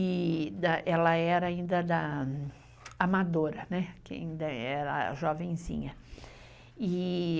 e ela era ainda da amadora, né. Que ainda era jovenzinha.